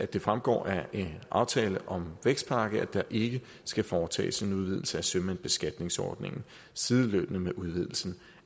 det fremgår af aftale om en vækstpakke at der ikke skal foretages en udvidelse af sømandsbeskatningsordningen sideløbende med udvidelsen